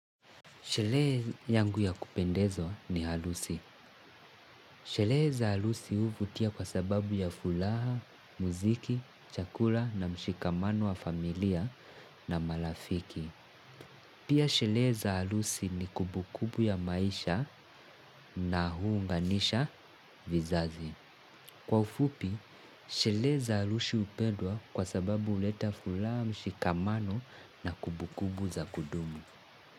Sherehe yangu ya kupendezwa, ni harusi. Sherehe za harusi huvutia kwa sababu ya furaha, muziki, chakula na mshikamano wa familia na marafiki. Pia sherehe za harusi ni kumbu kumbu ya maisha na huunganisha vizazi. Kwa ufupi, sherehe za harusi hupedwa kwa sababu huleta furaha, mshikamano na kumbu kumbu za kudumu.